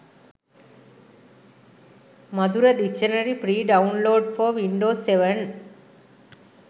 madura dictionary free download for windows 7